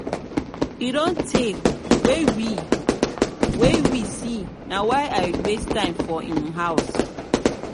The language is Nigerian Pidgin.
e don tey wey we wey we see na why i waste time for im house